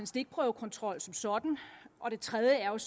stikprøvekontrol som sådan og det tredje er at